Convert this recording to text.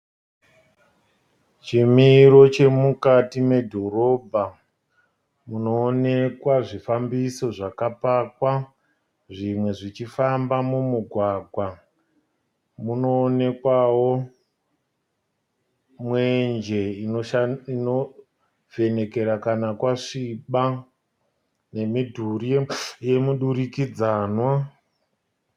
Chimiro chemukati medhorobha. Munoonekwa zvifambiso zvakapakwa zvimwe zvichifamba mumugwagwa. Munoonekwao mwenje inovhenekera kana kwasviba nemidhuri yemudurikidzanwa.